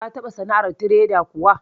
Ka taɓa sana'ar tireda kuwa?